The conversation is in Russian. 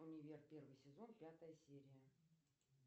универ первый сезон пятая серия